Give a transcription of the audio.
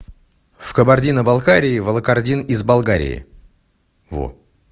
в кабардино-балкарии валокордин из болгарии во